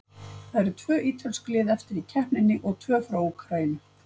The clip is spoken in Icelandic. Það eru tvö ítölsk lið eftir í keppninni og tvö frá Úkraínu.